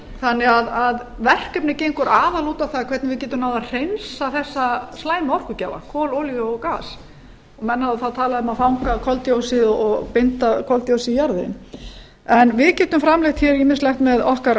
þannig að verkefnið gengur aðallega út á það hvernig við getum náð að hreinsa þessa slæmu orkugjafa kol olíu og gas menn hafa þá talað um að fanga koldyoxíð og binda koldyoxíð í jarðveginn en við getum framleitt ýmislegt með okkar